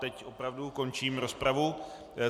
Teď opravdu končím rozpravu.